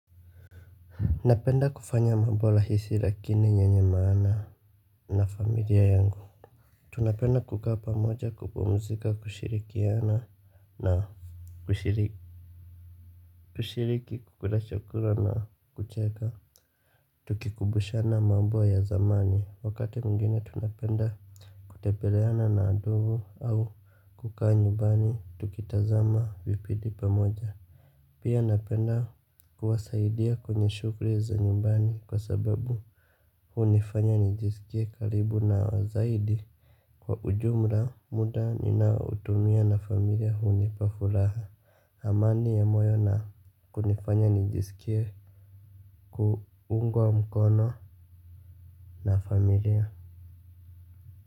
Napenda kufanya mambo rahisi lakini ye nye maana na familia yangu. Tunapenda kukaa pamoja kupumzika kushirikiana na kushiriki kukula chakula na kucheka. Tukikumbushana mambo ya zamani wakati mwingine tunapenda kutepeleana na ndugu au kukua nyumbani tukitazama vipidi pamoja. Pia napenda kuwasaidia kwenye shughli za nyumbani kwa sababu hunifanya nijiskie karibu nao zaidi. Kwa ujumla muda ninaoutumia na familia hunipa furaha amani ya moyo na kunifanya nijiskie kuungwa mkono na familia.